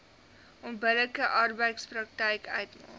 onbillike arbeidspraktyk uitmaak